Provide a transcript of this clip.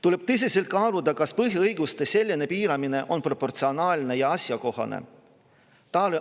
Tuleb tõsiselt kaaluda, kas põhiõiguste selline piiramine on proportsionaalne ja asjakohane.